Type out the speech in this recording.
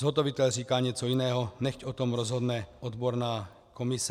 Zhotovitel říká něco jiného, nechť o tom rozhodne odborná komise.